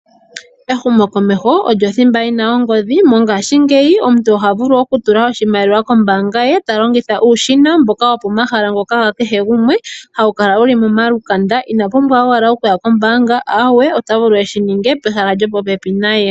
Ehumokomeho olyo thimba yi na ongodhi, mongashingeyi omuntu oha vulu oku tula oshimaliwa kombaanga ye ta longitha uushina mboka wo pomahala ngoka ga kehe gumwe hawu kala wuli momalukanda, ina pumbwa owala okuya kombaanga ahawe ota vulu eshininge pehala mpoka.